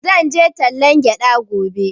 Zan je tallan gyaɗa gobe